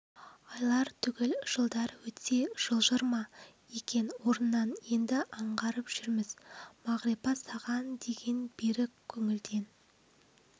айлар түгіл жылдар өтсе жылжыр ма екен орнынан енді аңғарып жүрміз мағрипа саған деген берік көңілден